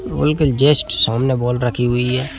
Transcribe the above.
के जस्ट सामने बॉल रखी हुई है।